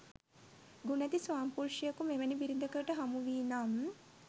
ගුණැති ස්වාමිපුරුෂයකු මෙවැනි බිරිඳකට හමුවීනම්